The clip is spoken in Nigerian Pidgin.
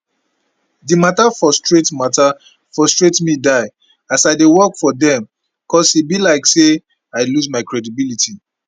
di mata frustrate mata frustrate me die as i dey work for dem cos e be like say i lose my credibility